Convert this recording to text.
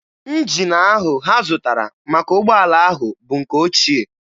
Njin ahụ ha zụtara maka ụgbọala ahụ bụ nke ochie.